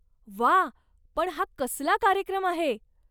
वा! पण हा कसला कार्यक्रम आहे?